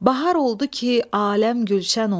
Bahar oldu ki, aləm gülşən oldu.